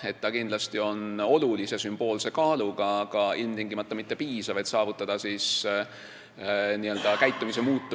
See on kindlasti olulise sümboolse kaaluga, aga ilmtingimata mitte piisav, et muuta nende käitumist,